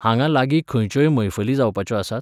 हांगां लागीं खंयच्योय मैफली जावपाच्यो आसात?